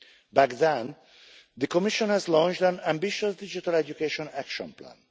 Back then, the Commission had launched an ambitious digital education action plan.